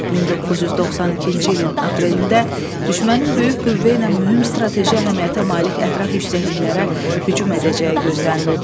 1992-ci ilin aprelində düşmənin böyük qüvvə ilə mühüm strateji əhəmiyyətə malik ətraf yüksəkliklərdə hücum edəcəyi gözlənilirdi.